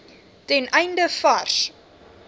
ten einde vars